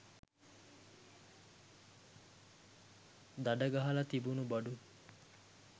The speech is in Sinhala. දඩ ගහල තිබුණු බඩු